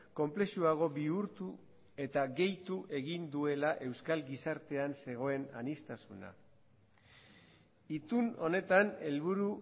konplexuago bihurtu eta gehitu egin duela euskal gizartean zegoen aniztasuna itun honetan helburu